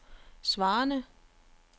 svarende